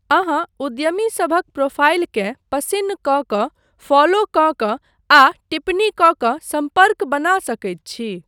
अहाँ उद्यमीसभक प्रोफाइलकेँ पसिन्न कऽ कऽ, फॉलो कऽ कऽ आ टिप्पणी कऽ कऽ सम्पर्क बना सकैत छी।